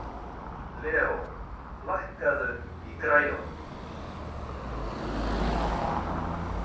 Leo, lækkaðu í græjunum.